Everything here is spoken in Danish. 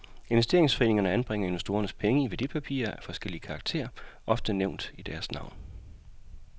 Investeringsforeningerne anbringer investorernes penge i værdipapirer af forskellig karakter, ofte nævnt i deres navn.